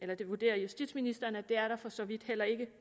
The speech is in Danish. det det vurderer justitsministeriet at det er der for så vidt heller ikke